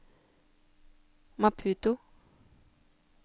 Maputo